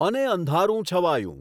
અને અંધારું છવાયું